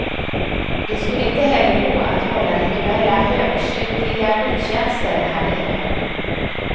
Det skulle inte heller gå att hålla rituella högkyrkliga gudstjänster härnere.